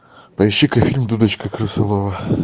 поищи ка фильм дудочка крысолова